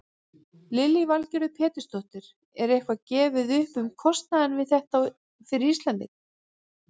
Lillý Valgerður Pétursdóttir: Er eitthvað gefið upp um kostnaðinn við þetta fyrir Íslendinga?